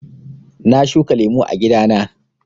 Na shuka lemu a gida na.